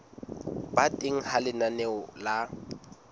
ba teng ha lenaneo la